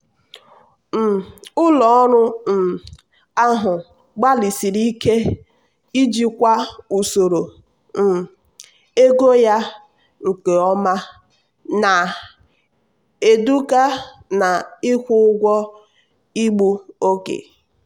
um ụlọ ọrụ um ahụ gbalịsiri ike ijikwa usoro um ego ya nke ọma na-eduga na-ịkwụ ụgwọ igbu oge.